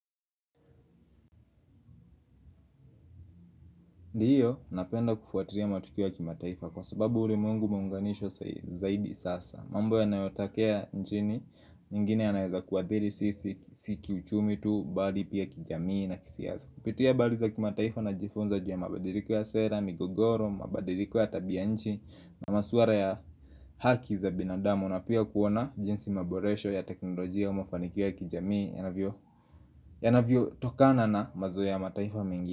Ndiyo, napenda kufuatiria matukio ya kimataifa kwa sababu ulimwengu umeunganisho sa zaidi sasa mambo ya nayotakea nchini, ingine yanaeza kuadhiri sisi, siki uchumi tu, bali pia kijamii na kisiasa Kupitia bali za kimataifa najifunza jua mabadiliko ya sera, migogoro, mabadiliko ya tabia nchi na masuara ya haki za binadamu na pia kuona jinsi maboresho ya teknolojia umafanikia kijamii yanavyo yanavyo tokana na mazo ya mataifa mingi.